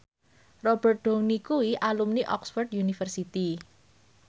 Robert Downey kuwi alumni Oxford university